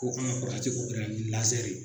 Ko n ka ye